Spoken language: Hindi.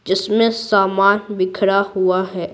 जिसमें सामान बिखरा हुआ है।